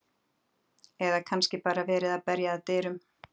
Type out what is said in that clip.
Eða er kannski bara verið að berja að dyrum?